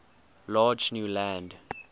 large new land